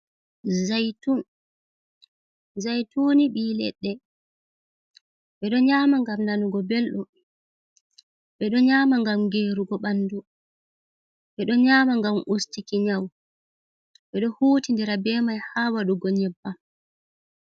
Zaytun zaytun ni ɓi leɗɗe ɓeɗo nyama ngam nanugo belɗum, ɓeɗo nyama ngam gerugo ɓandu, ɓeɗo nyama ngam ustuki nyau, ɓeɗo hutindira be mai ha waɗugo nyebbam.